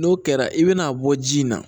N'o kɛra i bɛn'a bɔ ji in na